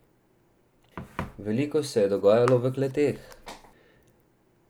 Veliko se je dogajalo v kleteh.